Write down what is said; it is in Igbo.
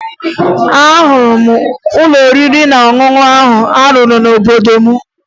Ahụrụ m ụlọ oriri na ọṅụṅụ ahụ a rụrụ n'obodo m